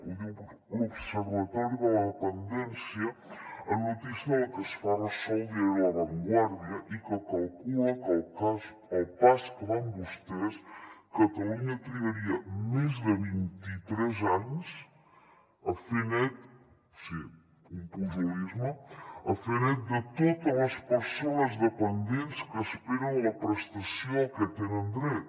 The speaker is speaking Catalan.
ho diu l’observatori de la dependència en una notícia de la que es fa ressò el diari la vanguardia que calcula que al pas que van vostès catalunya trigaria més de vint i tres anys a fer net o sigui un pujolisme de totes les persones dependents que esperen la prestació a què tenen dret